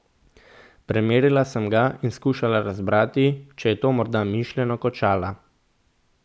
Premerila sem ga in skušala razbrati, če je to morda mišljeno kot šala.